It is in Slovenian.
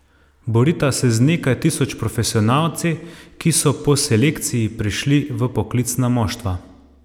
Borita se z nekaj tisoč profesionalci, ki so po selekciji prišli v poklicna moštva.